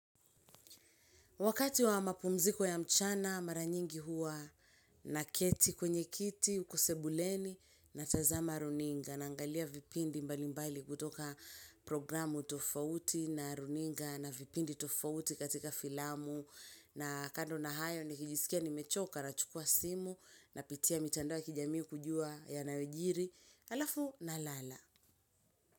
Wakati wa mapumziko ya mchana maranyingi hua naketi kwenye kiti, uku sebuleni natazama runinga naangalia vipindi mbalimbali kutoka programu tofauti na runinga na vipindi tofauti katika filamu na kando na hayo nikijisikia nimechoka nachukua simu napitia mitandao wa kijami kujua yanayojiri alafu nalala.